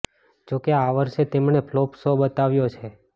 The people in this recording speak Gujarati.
જો કે આ વર્ષે તેમણે ફ્લોપ શો બતાવ્યો છે